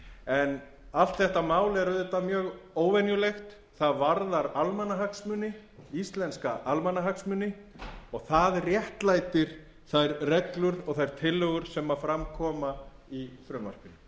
en allt þetta mál er auðvitað mjög óvenjulegt það varðar almannahagsmuni íslenska almannahagsmuni og það réttlætir þær reglur og þær tillögur sem fram koma í frumvarpinu af